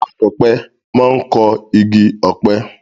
Akọ̀pẹ máa kọ igi ọ̀pẹ.